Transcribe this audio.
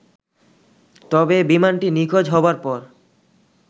তবে বিমানটি নিখোঁজ হবার পর